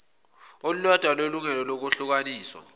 olulodwa lelungelo lokwehlukaniswa